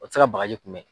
O tɛ se ka bagaji kunbɛ